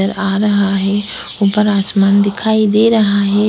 नजर आ रहा है ऊपर आसमान दिखाई दे रहा है